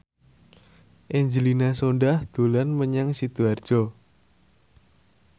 Angelina Sondakh dolan menyang Sidoarjo